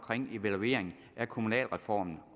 evaluering af kommunalreformen